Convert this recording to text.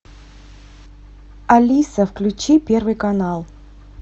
алиса включи первый канал